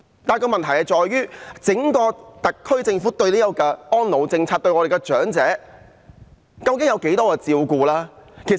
然而，問題在於整個特區政府的安老政策有多照顧長者。